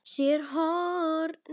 SÉR HORNIN.